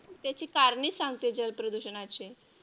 त्याची कारणे सांगतो जल प्रदूषणाची.